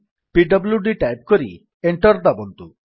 PWD type କରି enter ଦାବନ୍ତୁ